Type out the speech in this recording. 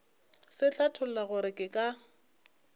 se hlatholla gore ke ka